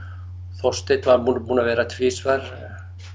Þorsteinn var búinn að vera tvisvar